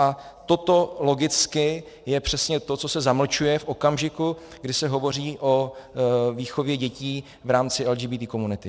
A toto logicky je přesně to, co se zamlčuje v okamžiku, kdy se hovoří o výchově dětí v rámci LGBT komunity.